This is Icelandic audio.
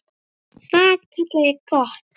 Það kalla ég gott.